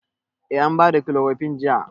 Eh an ba da kilorokun jiya.